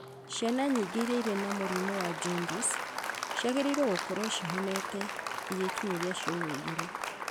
Ciana nyingĩ irĩa irĩ na mũrimũ wa jaundice ciagĩrĩrwo gũkorwo cihonete igĩkinyĩria ciumia igĩrĩ,